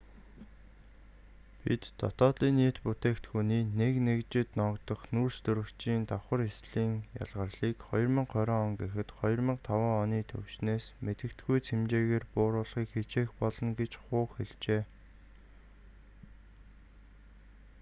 бид днб-ий нэг нэгжид ногдох нүүрстөрөгчийн давхар ислийн ялгарлыг 2020 он гэхэд 2005 оны түвшнээс мэдэгдэхүйц хэмжээгээр бууруулахыг хичээх болно гэж ху хэллээ